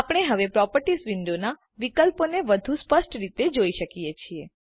આપણે હવે પ્રોપર્ટીઝ વિન્ડોના વિકલ્પો વધુ સ્પષ્ટ રીતે જોઈ શકીએ છીએ